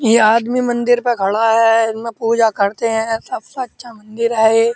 यह आदमी मंदिर पर खड़ा है। इसमें पूजा करते हैं। सबसे अच्छा मंदिर है ये।